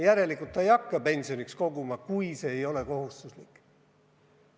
Järelikult noor inimene ei hakka pensioniks koguma, kui see ei ole kohustuslik.